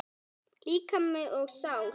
Líkami og sál